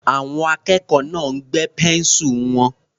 Àwọn akẹ́kọ̀ọ́ náà gbẹ́ pẹ́ńsù wọn.